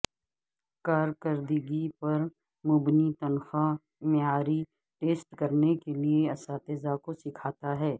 کارکردگی پر مبنی تنخواہ معیاری ٹیسٹ کرنے کے لئے اساتذہ کو سکھاتا ہے